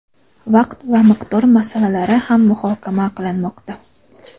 vaqt va miqdor masalalari ham muhokama qilinmoqda.